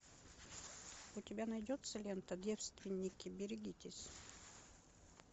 у тебя найдется лента девственники берегитесь